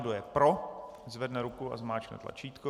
Kdo je pro, zvedne ruku a zmáčkne tlačítko.